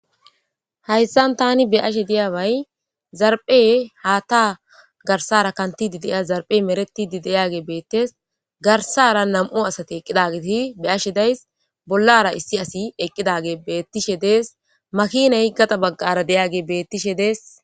Hayssan tani be ashe diyaabay zarphe haatta garsara kantidi deya zarphe meretidi deyage beettes garsara nam'u asate eqqidagiti be ashe days bollara issi asi eqqidage beettishe dees makine higgata baggara deyage bettishe dees